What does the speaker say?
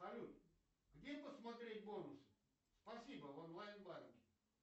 салют где посмотреть бонусы спасибо в онлайн банке